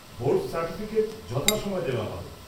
Board certificate যথাসময়ে দেওয়া হবে।